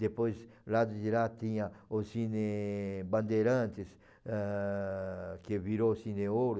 Depois, do lado de lá, tinha o Cine Bandeirantes, ah, que virou Cine Ouro.